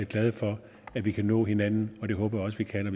glade for at vi kan nå hinanden og det håber jeg også vi kan